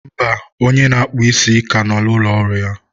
mba, onye na-akpụ ísí ka nọ na ụlọ ọrụ ya.